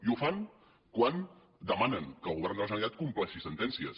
i ho fan quan demanen que el govern de la generalitat compleixi sentències